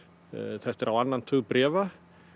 þetta er á annan tug bréfa